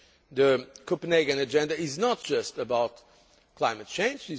The Copenhagen agenda is not just about climate change.